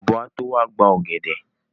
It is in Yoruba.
Ọ̀bọ́ á tó wá gba ọ̀gẹ̀dẹ̀.